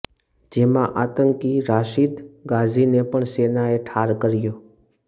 જેમાં આતંકી રાશિદ ગાઝીને પણ સેનાએ ઠાર કર્યો